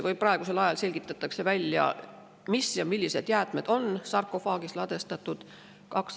Praegu selgitatakse, millised jäätmed on sarkofaagi ladustatud.